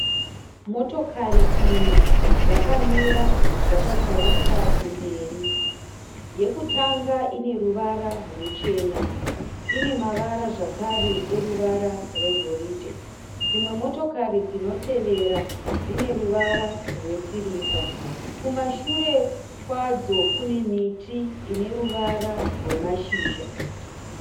Motokari ina dzakamira dzakatarisa kumberi. Yekutanga ineruvara ruchena. Inemavara zvakare eruvara rwegoridhe. Dzimwe motokari dzinotevera dzineruvara rwesirivha. Kumashure kwadzo kune miti ineruvara rwemashizha.